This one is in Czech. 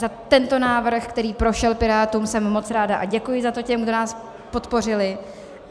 Za tento návrh, který prošel Pirátům, jsem moc ráda a děkuji za to těm, kdo nás podpořili.